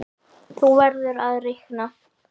Þú verður að reikna